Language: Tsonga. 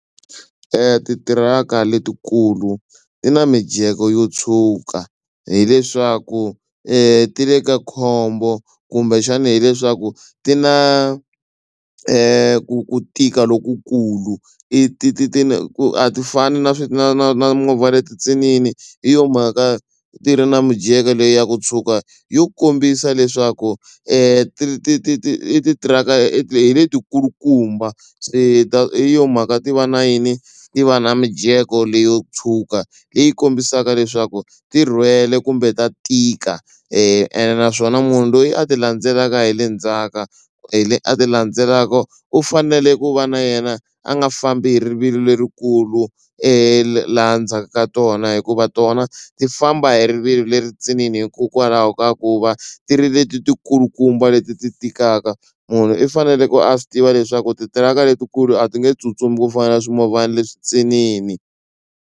Titiraka letikulu ti na mijeko yo tshuka hileswaku ti le ka khombo kumbexani hileswaku ti na ku tika lokukulu i ti ti ti ku a ti fani na na na na movha leti ntsinini hi yo mhaka ti ri na mijeko leyi ya ku tshuka yo ku kombisa leswaku ti ti ti ti i tithiraka i ti hi letikulukumba se ta hi yo mhaka ti va na yini ti va na mijeko leyo tshuka leyi kombisaka leswaku ti rhwele kumbe ta tika ene naswona munhu loyi a ti landzelaka hi le ndzhaka hi a ti landzelaka u fanele ku va na yena a nga fambi hi rivilo lerikulu laha ndzhaku ka tona hikuva tona ti famba hi rivilo leri ntsinini hikokwalahi ka ku va ti ri leti ti kulukumba leti ti tikaka munhu i faneleke a swi tiva leswaku titiraka letikulu a ti nge tsutsumi ku fana na swimovhana leswi ntsinini.